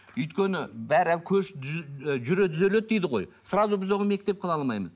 өйткені бәрі көш жүре түзеледі дейді ғой сразу біз оны мектеп қыла алмаймыз